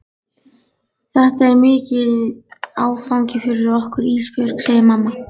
Þetta er mikill áfangi fyrir okkur Ísbjörg, segir mamma.